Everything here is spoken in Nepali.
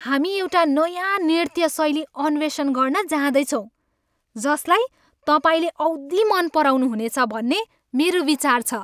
हामी एउटा नयाँ नृत्य शैली अन्वेषण गर्न जाँदैछौँ जसलाई तपाईँले औधी मन पराउनुहुनेछ भन्ने मेरो विचार छ।